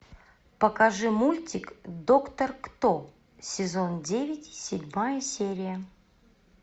покажи мультик доктор кто сезон девять седьмая серия